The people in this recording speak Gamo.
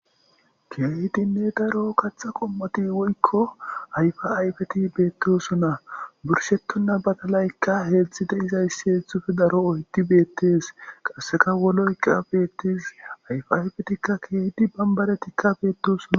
Keeydinne daro katha qommoti woykko ayfa ayfeti beettosunna burshetonna batalaykka heetztzhide izayssi heetzthufe daro oyti beettes qasseka woloyka bettes ayfa ayfetikka keedi bambaretikkabeetosuna.